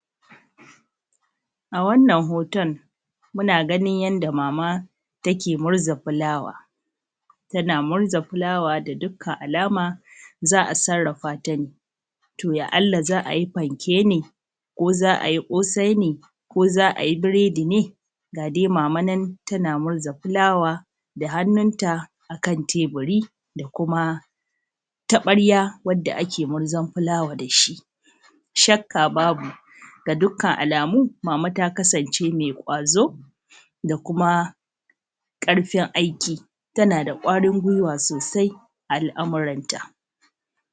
A wannan hoton, muna ganin yadda maama take murza fulawa, tana murza fulawa ga dukkan alama za’a sarrafata ne. To ya’alla za a ji fanke ne ko za a yi ƙosai ne ko za a yi buredi ne, ga dai maama nan tana murza fulawa akan teburii da kuma taɓarya wadda ake murzan fulawa da shi. shakka babu, ga dukkan alaamu maama ta kasance mai ƙwazoo da kuma ƙarfin aiki. Tana da ƙwarin gwiwa sosai a al’amuranta.